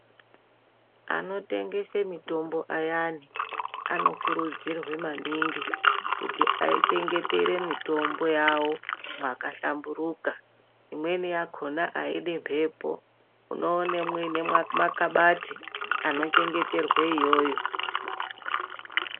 Anotengese mitombo ayani anokurudzirwe maningi kuti achengetere mitombo yawo mwaka hlamburuka imweni yakhona aidi mhepo unoone mwuine makabathi anochengeterwe iyoyo.